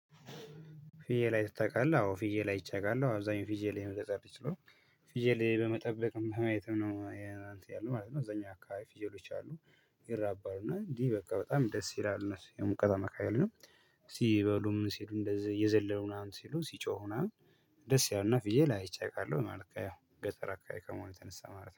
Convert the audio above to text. ፊየል አይትህ ታቃለህ፣ አዎ ፊዬልአይቼ አቃለሁ አብዛኛው ፊዬል ላይ መገጣጠል ይችላል። ፊዬ ላይ በመጠበቅም በማየትም ነው አንተ ያለው ማለት ነው እዛኛ አካባቢ ፊጀሎች አሉ። ይራባሉ እና እንዲህ በቃ በጣም ደስ ይላል እነሱ የሙቀት መካከል ነው። ሲበሉም ሲሉ እንደዚህ የዘለለውን አሁን ሲሉ ሲጮሁ አሁን። ደስ ያውና ፍዬል ላይ አይቼ አውቃለሁ ማለት ነው። ገጠር አከባቢ ከሆነ ተነሳ ማለት ነው።